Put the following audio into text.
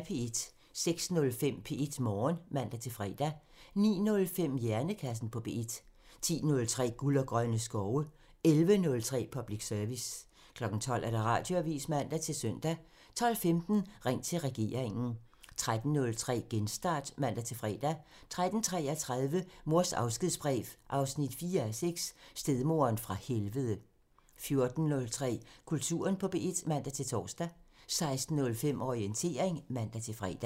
06:05: P1 Morgen (man-fre) 09:05: Hjernekassen på P1 (man) 10:03: Guld og grønne skove (man) 11:03: Public Service (man) 12:00: Radioavisen (man-søn) 12:15: Ring til regeringen (man) 13:03: Genstart (man-fre) 13:33: Mors afskedsbrev 4:6 – Stedmoderen fra helvede 14:03: Kulturen på P1 (man-tor) 16:05: Orientering (man-fre)